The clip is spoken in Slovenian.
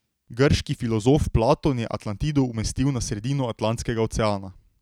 Grški filozof Platon je Atlantido umestil na sredino Atlantskega oceana.